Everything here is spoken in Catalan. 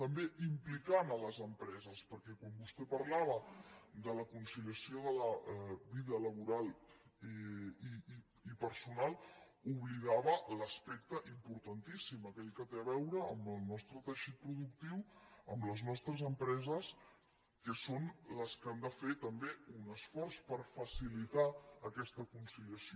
també implicant les empreses perquè quan vostè parlava de la conciliació de la vida laboral i personal oblidava l’aspecte importantíssim aquell que té a veure amb el nostre teixit productiu amb les nostres empreses que són les que han de fer també un esforç per facilitar aquesta conciliació